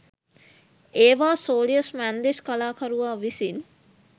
ඒවා සෝලියස් මැන්දිස් කලාකරුවා විසින්